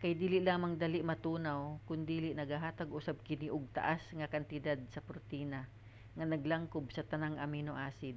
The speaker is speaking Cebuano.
kay dili lamang dali matunaw kondili nagahatag usab kini og taas nga kantidad sa protina nga naglangkob sa tanang amino acid